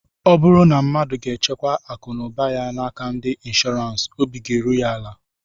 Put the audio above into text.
Ọ bụrụ na mmadu ga-echekwa akụ na ụba ya n'aka ndị nshọọransị, obi ga-eru ya ala